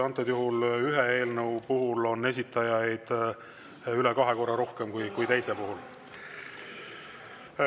Antud juhul on ühe eelnõu puhul esitajaid üle kahe korra rohkem kui teise puhul.